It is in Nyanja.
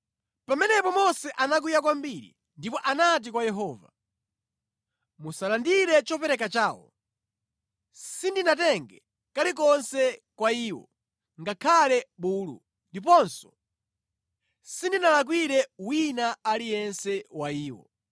Pamenepo Mose anakwiya kwambiri ndipo anati kwa Yehova, “Musalandire chopereka chawo. Sindinatenge kalikonse kwa iwo ngakhale bulu, ndiponso sindinalakwire wina aliyense wa iwo.”